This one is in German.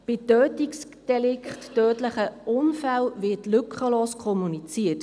Bei Tötungsdelikten wird lückenlos kommuniziert.